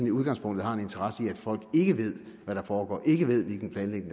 i udgangspunktet har en interesse i at folk ikke ved hvad der foregår ikke ved hvilken planlægning